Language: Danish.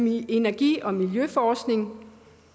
i energi og miljøforskning